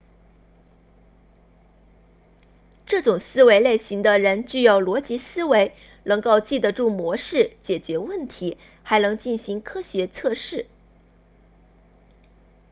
这种思维类型的人具有逻辑思维能够记得住模式解决问题还能进行科学测试